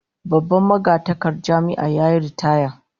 Babban magatakardar Jami'ar yayi ritaya